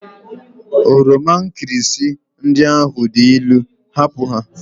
Oroma nkirịsị ndị ahụ dị ilu! hapụ ha!